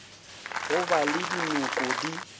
go ba le dinoko di